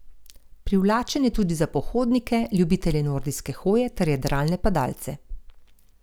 Privlačen je tudi za pohodnike, ljubitelje nordijske hoje ter jadralne padalce.